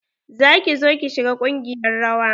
Za ki zo ki shiga ƙungiyar rawa?